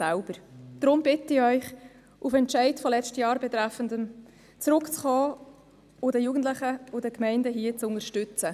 Deshalb bitte ich Sie, auf den betreffenden Entscheid von letztem Jahr zurückzukommen und die Jugendlichen und Gemeinden hier zu unterstützen.